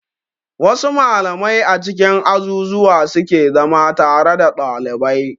Wa su malamai a cikin azuzzuwa suke zama tare da dalibai